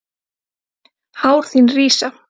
Hár þín rísa.